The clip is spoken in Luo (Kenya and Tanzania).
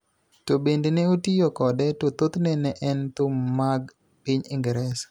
to bende ne otiyo kode to thothne ne en thum mag piny Ingresa,